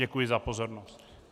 Děkuji za pozornost.